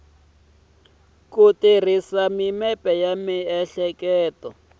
ku tirhisa mimepe ya miehleketo